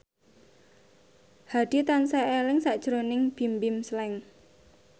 Hadi tansah eling sakjroning Bimbim Slank